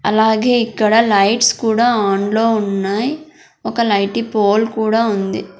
అలాగే ఇక్కడ లైట్స్ కూడా ఆన్ లో ఉన్నాయ్ ఒక లైటీ పోల్ కూడా ఉంది.